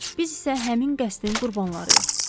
Biz isə həmin qəsdin qurbanlarıyıq.